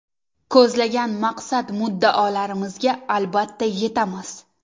Ko‘zlagan maqsad-muddaolarimizga albatta yetamiz!